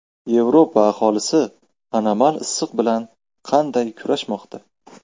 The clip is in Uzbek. Yevropa aholisi anomal issiq bilan qanday kurashmoqda?